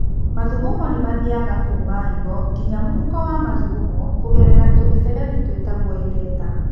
Mathugumo nĩ mathiaga kuuma higo nginya mũhuko wa mathugumo kũgerera tũmĩberethi tũĩtagwo ureta.